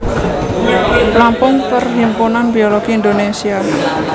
Lampung Perhimpunan Biologi Indonesia